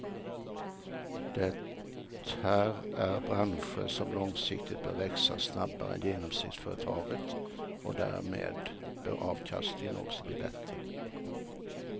Det här är branscher som långsiktigt bör växa snabbare än genomsnittsföretaget och därmed bör avkastningen också bli bättre.